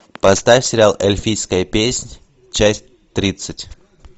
поставь сериал эльфийская песнь часть тридцать